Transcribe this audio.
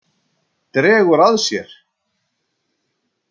Dregur að sér.